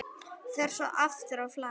Fer svo aftur á flakk.